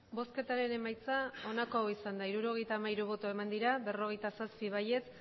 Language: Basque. emandako botoak hirurogeita hamairu bai berrogeita zazpi ez